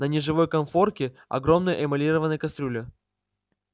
на неживой конфорке огромная эмалированная кастрюля